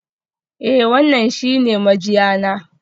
Eh, wannan shi ne mijiya na.